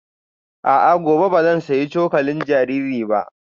A'a, gobe ba zan sayi cokalin jariri ba